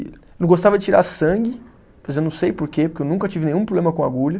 Eu não gostava de tirar sangue, pois eu não sei porquê, porque eu nunca tive nenhum problema com agulha.